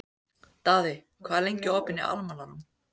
Daði, hvað er lengi opið í Almannaróm?